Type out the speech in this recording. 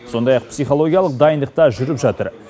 сондай ақ психологиялық дайындық та жүріп жатыр